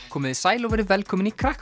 komiði sæl og verið velkomin í